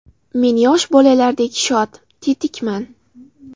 Men yosh bolalardek shod, tetikman.